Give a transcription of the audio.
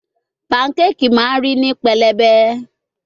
Pancake ma ri ni pelebe